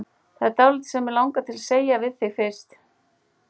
Það er dálítið sem mig langar til að segja við þig fyrst.